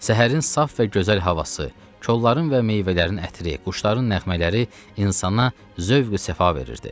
Səhərin saf və gözəl havası, kolların və meyvələrin ətri, quşların nəğmələri insana zövq-ü-səfa verirdi.